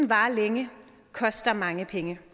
varer længe koster mange penge